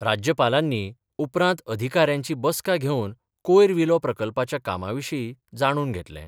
राज्यपालांनी उपरांत अधिकाऱ्यांची बसका घेवन कोयर विलो प्रकल्पाच्या कामां विशी जाणून घेतलें.